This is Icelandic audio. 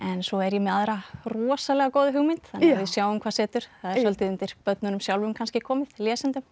svo er ég með aðra rosalega góða hugmynd þannig að við sjáum hvað setur það er svolítið undir börnunum sjálfum kannski komið lesendum